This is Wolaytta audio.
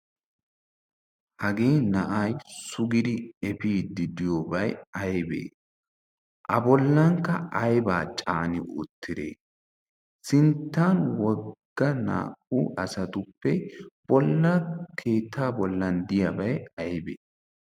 hagee na'ay sugidi efiiddi diyoobay ayibee? abollankka ayibaa caani uttidee? sinttan wogga naa"u asatuppe bollan keettaa bollan diyaabay ayibee?